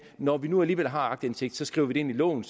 når vi nu alligevel har aktindsigt skriver vi det ind i loven